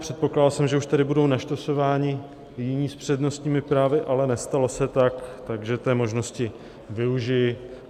Předpokládal jsem, že už tady budou naštosováni jiní s přednostními právy, ale nestalo se tak, takže té možnosti využiji.